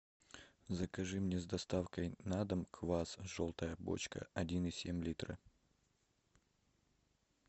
закажи мне с доставкой на дом квас желтая бочка один и семь литра